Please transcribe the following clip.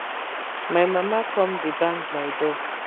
my mama come dey bang my door